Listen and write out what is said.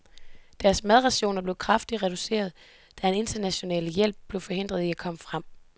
Deres madrationer blev kraftigt reduceret, da den internationale hjælp blev forhindret i at komme frem.